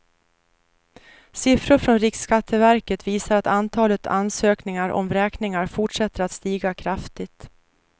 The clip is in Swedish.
Siffror från riksskatteverket visar att antalet ansökningar om vräkningar fortsätter att stiga kraftigt.